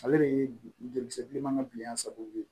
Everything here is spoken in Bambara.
Ale de ye joli bilenman bilen an sababu ye